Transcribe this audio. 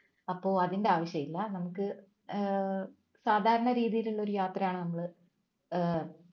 അപ്പൊ അതിന്റെ ആവശ്യമില്ല നമുക്ക് ഏർ സാധാരണ രീതിയിലുള്ള ഒരു യാത്രയാണ് നമ്മള് ഏർ